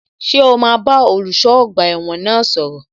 Ṣé o máa bá olùṣọ́ ọgbà ẹ̀wọ̀n náà sọ̀rọ̀?